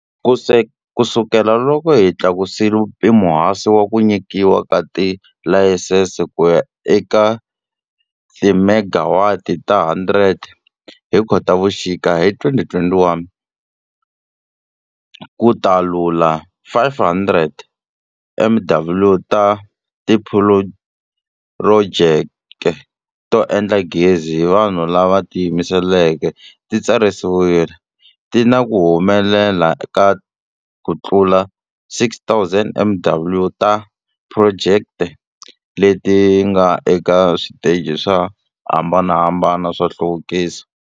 Kusukela loko hi tlakusile mpimohansi wa ku nyi kiwa ka tilayisense kuya eka timegawati ta 100 hi Khotavuxika hi 2021, kutalula 500 MW ta tiphurojeke to endla gezi hi vanhu lava tiyimeleke ti tsarisiwile, ti na ku humelela ka ku tlula 6,000 MW ta tiphurojeke leti nga eka switeji swo hambanahambana swa nhluvukiso.